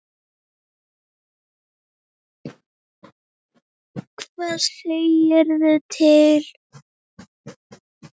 Hvað segirðu til?